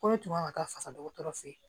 Ko ne tun kan ka taa fasa dɔgɔtɔrɔ fɛ